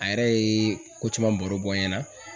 A yɛrɛ ye ko caman baro bɔ n ɲɛna